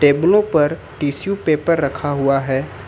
टेबलों पर tissue paper रखा हुआ है।